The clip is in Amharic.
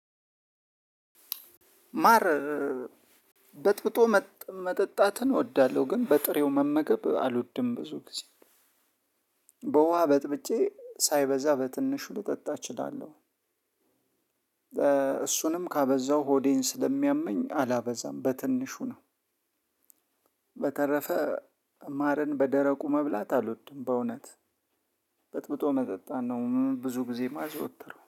ማረን በጥብጦ መጠጣትን እወዳለሁ ግን በጥሬው መመገብ አልወድም ብዙ ጊዜ በውሃ በጥብጬ ሳይበዛ በትንሹ ልጠጣ እችላለሁ። እሱንም ካበዛው ሆዴን ስለሚያመኝ አላበዛም በትንሹ ነው። በተረፈ ማርን በደረቁ መብላት አልወድም። በእውነት በጥብጦ መጠጣን ነው ብዙ ጊዜ ማዘወተረው